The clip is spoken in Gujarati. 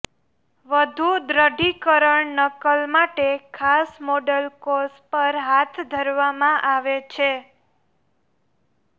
વધુ દૃઢીકરણ નકલ માટે ખાસ મોડલ કોષ પર હાથ ધરવામાં આવે છે